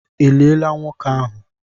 E liela nwoke ahụ?